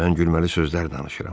Mən gülməli sözlər danışıram.